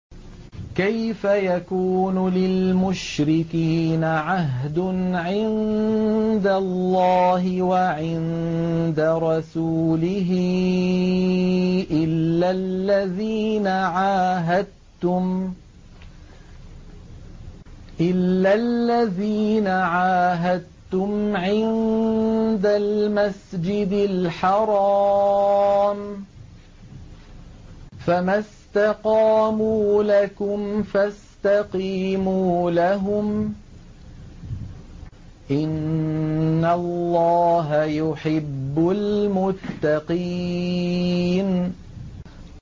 كَيْفَ يَكُونُ لِلْمُشْرِكِينَ عَهْدٌ عِندَ اللَّهِ وَعِندَ رَسُولِهِ إِلَّا الَّذِينَ عَاهَدتُّمْ عِندَ الْمَسْجِدِ الْحَرَامِ ۖ فَمَا اسْتَقَامُوا لَكُمْ فَاسْتَقِيمُوا لَهُمْ ۚ إِنَّ اللَّهَ يُحِبُّ الْمُتَّقِينَ